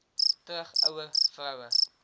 terug ouer vroue